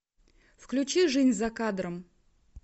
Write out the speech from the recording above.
включи жизнь за кадром